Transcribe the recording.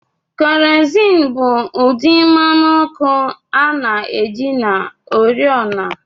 Kerosene bụ ụdị mmanụ ọkụ a na-eji na oriọna